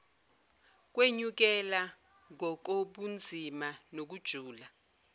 kwenyukela ngokobunzima nokujula